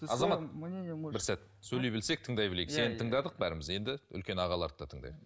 азамат бір сәт сөйлей білсек тыңдай білейік сені тыңдадық бәріміз енді үлкен ағаларды да тыңдайық